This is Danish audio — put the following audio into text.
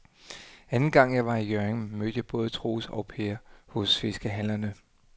Anden gang jeg var i Hjørring, mødte jeg både Troels og Per hos fiskehandlerne.